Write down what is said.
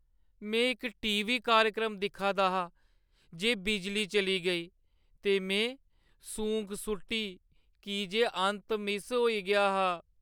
में इक टी.वी. कार्यक्रम दिक्खा दा हा जे बिजली चली गेई ते में सूंक सु'ट्टी की जे अंत मिस होई गेआ हा ।